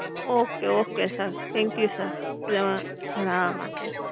okay okay sir thank you sir plus જણાવવા માટે.